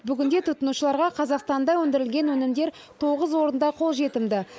бүгінде тұтынушыларға қазақстанда өнідірілген өнімдер тоғыз орында қол жетімді